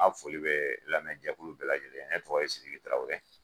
N ka foli be lamɛnjɛkulu bɛɛ lajɛlen ye ne togo ye sidiki tarawele